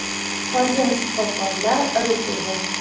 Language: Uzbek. Qolgan shifokorlar rus edi.